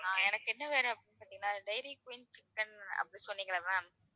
எனக்கு என்ன வேணும் அப்படின்னு சொன்னிங்கன்னா diary queen chicken அப்படின்னு சொன்னீங்கல்ல ma'am